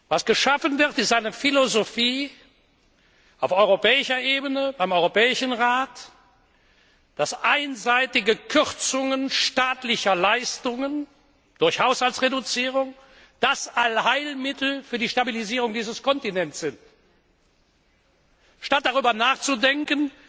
Was geschaffen wird, ist eine Philosophie auf europäischer Ebene, beim Europäischen Rat, die besagt, dass einseitige Kürzungen staatlicher Leistungen durch Haushaltsreduzierung das Allheilmittel für die Stabilisierung dieses Kontinents sind, statt darüber nachzudenken,